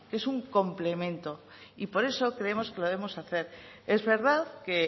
que es un complemento y por eso creemos que lo debemos de hacer es verdad que